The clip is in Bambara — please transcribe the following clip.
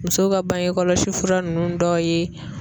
Musow ka bange kɔlɔsi fura ninnu dɔw ye